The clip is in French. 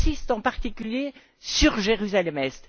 J'insiste en particulier sur Jérusalem Est.